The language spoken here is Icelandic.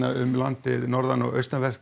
um landið sunnan og vestanvert